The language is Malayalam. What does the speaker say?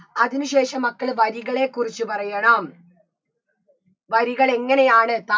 അതിന് ശേഷം മക്കള് വരികളെ കുറിച്ച് പറയണം വരികളെങ്ങനെയാണ്